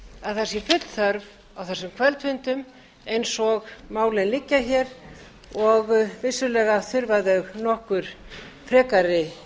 að það sé full þörf á þessum kvöldfundum eins og málin liggja hér og vissulega þurfa þau nokkur frekari